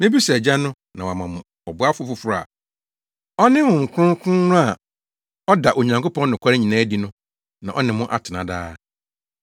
Mebisa Agya no na wama mo ɔboafo foforo a ɔne Honhom Kronkron no a ɔda Onyankopɔn nokware nyinaa adi no na ɔne mo atena daa.